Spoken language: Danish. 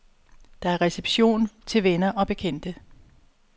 Der er reception til venner og bekendte.